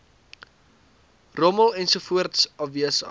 rommel ensovoorts afwesig